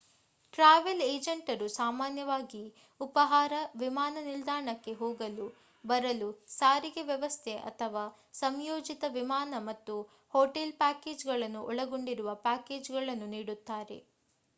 travel ಏಜೆಂಟರು ಸಾಮಾನ್ಯವಾಗಿ ಉಪಾಹಾರ ವಿಮಾನ ನಿಲ್ದಾಣಕ್ಕೆ ಹೋಗಲು/ಬರಲು ಸಾರಿಗೆ ವ್ಯವಸ್ಥೆ ಅಥವಾ ಸಂಯೋಜಿತ ವಿಮಾನ ಮತ್ತು ಹೋಟೆಲ್ ಪ್ಯಾಕೇಜ್‌ಗಳನ್ನು ಒಳಗೊಂಡಿರುವ ಪ್ಯಾಕೇಜ್‌ಗಳನ್ನು ನೀಡುತ್ತಾರೆ